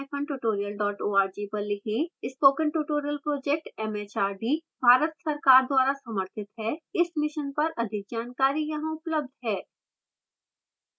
spoken tutorial project MHRD Bharat सरकार द्वारा समर्थित है इस mission पर अधिक जानकारी यहां उपलब्ध है: